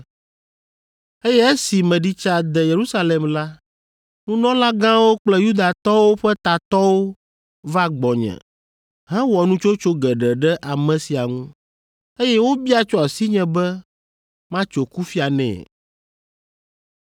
Eye esi meɖi tsa de Yerusalem la, nunɔlagãwo kple Yudatɔwo ƒe tatɔwo va gbɔnye hewɔ nutsotso geɖe ɖe ame sia ŋu, eye wobia tso asinye be matso kufia nɛ.